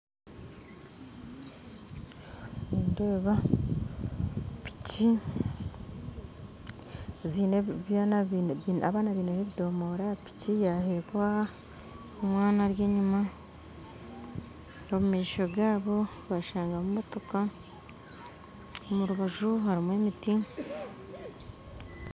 Nindeeba piki ziine abaana bineho ebidomora aha piki yaretwa omwana ari enyuma omu maisho gaabo bashangamu motoka omurubaju harimu emiti